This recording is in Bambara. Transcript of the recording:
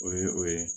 O ye o ye